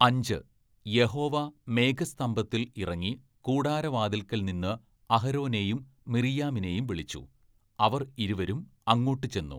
അഞ്ച്, യഹോവ മേഘസ്തംഭത്തിൽ ഇറങ്ങി കൂടാരവാതിൽക്കൽ നിന്ന് അഹരോനെയും മിർയ്യാമിനെയും വിളിച്ചു, അവർ ഇരുവരും അങ്ങോട്ടു ചെന്നു.